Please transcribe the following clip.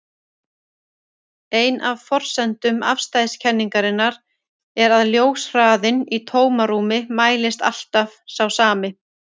Ein af forsendum afstæðiskenningarinnar er að ljóshraðinn í tómarúmi mælist alltaf sá sami.